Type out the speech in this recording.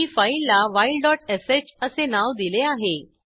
मी फाईलला whileshअसे नाव दिले आहे